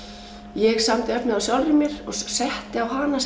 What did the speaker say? ég samdi efnið á sjálfri mér og setti á hana